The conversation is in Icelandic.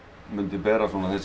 ber